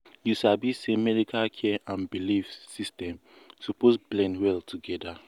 you sabi say medical care and belief system suppose blend well together.